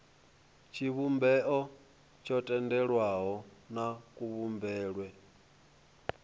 tshivhumbeo tsho tendelwaho na kuvhumbelwe